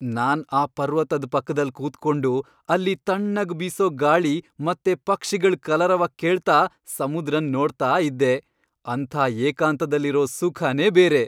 ನಾನ್ ಆ ಪರ್ವತದ್ ಪಕ್ದಲ್ ಕೂತ್ಕೊಂಡು, ಅಲ್ಲಿ ತಣ್ಣಗ್ ಬೀಸೋ ಗಾಳಿ ಮತ್ತೆ ಪಕ್ಷಿಗಳ್ ಕಲರವ ಕೇಳ್ತಾ ಸಮುದ್ರನ್ ನೋಡ್ತಾ ಇದ್ದೆ.. ಅಂಥ ಏಕಾಂತದಲ್ಲಿರೋ ಸುಖನೇ ಬೇರೆ.